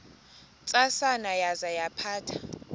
ntsasana yaza yaphatha